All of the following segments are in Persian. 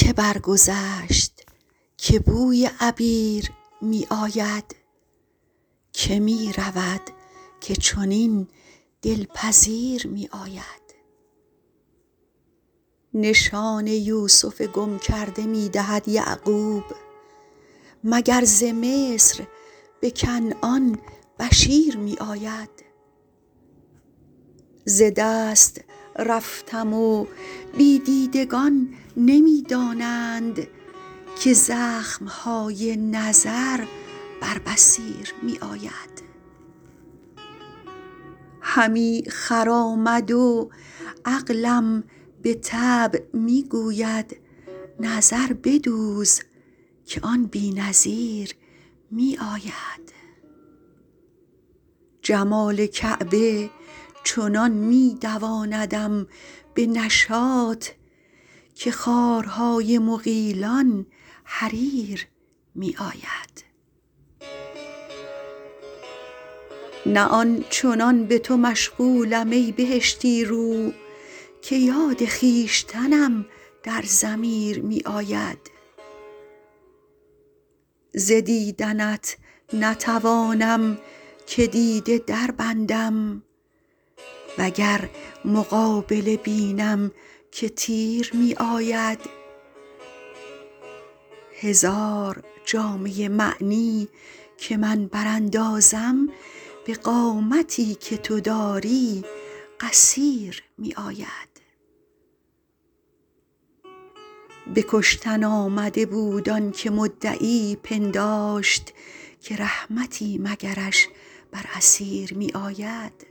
که برگذشت که بوی عبیر می آید که می رود که چنین دل پذیر می آید نشان یوسف گم کرده می دهد یعقوب مگر ز مصر به کنعان بشیر می آید ز دست رفتم و بی دیدگان نمی دانند که زخم های نظر بر بصیر می آید همی خرامد و عقلم به طبع می گوید نظر بدوز که آن بی نظیر می آید جمال کعبه چنان می دواندم به نشاط که خارهای مغیلان حریر می آید نه آن چنان به تو مشغولم ای بهشتی رو که یاد خویشتنم در ضمیر می آید ز دیدنت نتوانم که دیده دربندم و گر مقابله بینم که تیر می آید هزار جامه معنی که من براندازم به قامتی که تو داری قصیر می آید به کشتن آمده بود آن که مدعی پنداشت که رحمتی مگرش بر اسیر می آید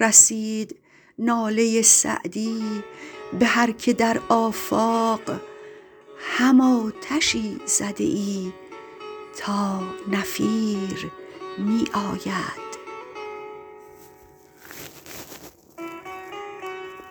رسید ناله سعدی به هر که در آفاق هم آتشی زده ای تا نفیر می آید